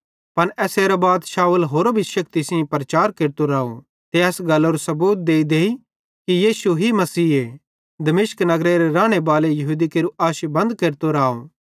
पन एसेरां बाद शाऊल होरो भी शेक्ति सेइं प्रचार केरतो राव ते एस गल्लरू सबूत देईदेई कि यीशु ही मसीहे दमिश्क नगरेरे रानेबालां यहूदी केरू आशी बंद केरतो राव